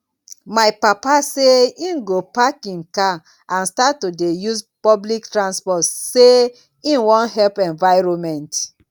my papa say im go park im car and start to dey use public transport say im wan help environment